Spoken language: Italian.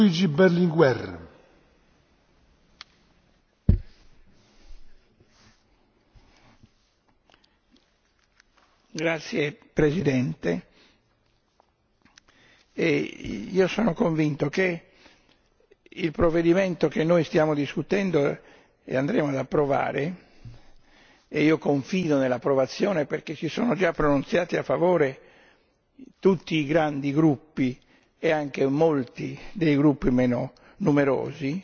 Signor Presidente, onorevoli colleghi, io sono convinto che il provvedimento che noi stiamo discutendo e andremo ad approvare e io confido nell'approvazione perché si sono già pronunziati a favore tutti i grandi gruppi e anche molti dei gruppi meno numerosi